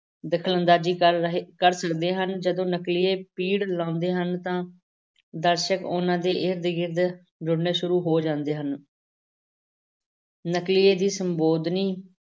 ਦਖ਼ਲ-ਅੰਦਾਜ਼ੀ ਕਰ ਰਹੇ, ਕਰ ਸਕਦੇ ਹਨ, ਜਦੋਂ ਨਕਲੀਏ ਪਿੜ ਲਾਉਂਦੇ ਹਨ ਤਾਂ ਦਰਸ਼ਕ ਉਹਨਾਂ ਦੇ ਇਰਦ-ਗਿਰਦ ਜੁੜਨੇ ਸ਼ੁਰੂ ਹੋ ਜਾਂਦੇ ਹਨ ਨਕਲੀਏ ਦੀ ਸੰਬੋਧਨੀ